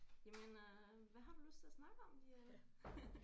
Jamen øh hvad har du lyst til at snakke om Diane